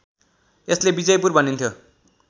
यसलाई विजयपुर भनिन्थ्यो